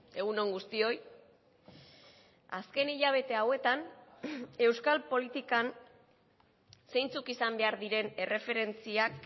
egun on guztioi azken hilabete hauetan euskal politikan zeintzuk izan behar diren erreferentziak